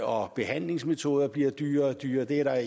og behandlingsmetoderne bliver dyrere og dyrere det er der